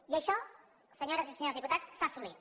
i això senyores i senyors diputats s’ha assolit